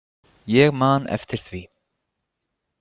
Ég man eftir því.